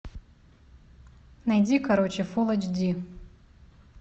найди короче фул эйч ди